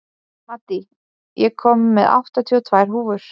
Maddý, ég kom með áttatíu og tvær húfur!